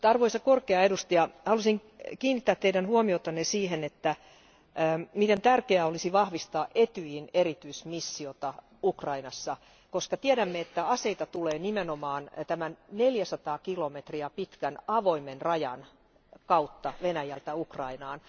Mutta arvoisa korkea edustaja, haluaisin kiinnittää Teidän huomiotanne siihen, miten tärkeää olisi vahvistaa Etyjin erityismissiota Ukrainassa, koska tiedämme, että aseita tulee nimenomaan tämän neljäsataa kilometriä pitkän avoimen rajan kautta Venäjältä Ukrainaan.